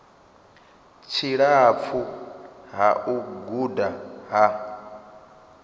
tshilapfu ha u guda ha